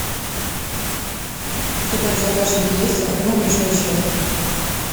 у тебя в загашнике есть одно большое счастье